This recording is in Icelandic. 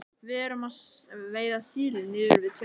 Við erum að veiða síli niður við Tjörn.